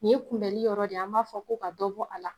O kunbɛli yɔrɔ de an b'a fɔ ko ka dɔ bɔ a la.